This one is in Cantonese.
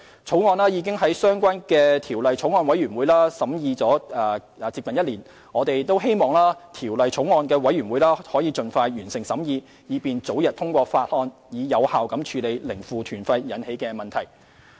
《條例草案》已在相關法案委員會審議近1年，我們希望法案委員會能盡快完成審議，以便早日通過《條例草案》，從而有效處理零負團費引起的問題。